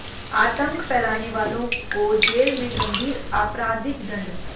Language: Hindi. आतंक फैलाने वालों को जेल में गंभीर आपराधिक दंड